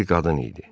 Bir qadın idi.